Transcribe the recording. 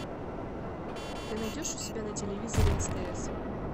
ты найдешь у себя на телевизоре стс